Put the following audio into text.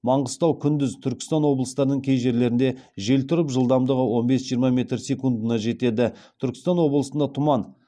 маңғыстау күндіз түркістан облыстарының кей жерлерінде жел тұрып жылдамдығы он бес жиырма метр секундына жетеді түркістан облысында тұман